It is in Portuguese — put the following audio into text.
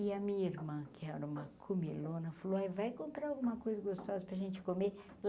E a minha irmã, que era uma comilona, falou ai vai comprar alguma coisa gostosa para a gente comer.